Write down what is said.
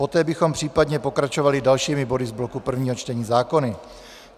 Poté bychom případně pokračovali dalšími body z bloku prvního čtení zákonů.